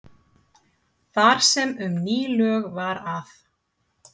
Þar sem um ný lög var að